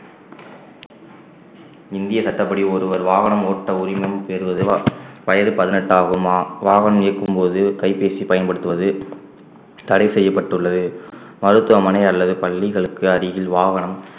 இந்திய சட்டப்படி ஒருவர் வாகனம் ஓட்ட உரிமம் பெறுவதுவ~ வயது பதினெட்டு ஆகுமா வாகனம் இயக்கும்போது கைபேசி பயன்படுத்துவது தடை செய்யப்பட்டுள்ளது மருத்துவமனை அல்லது பள்ளிகளுக்கு அருகில் வாகனம்